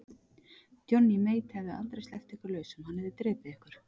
Johnny Mate hefði aldrei sleppt ykkur lausum, hann hefði drepið ykkur.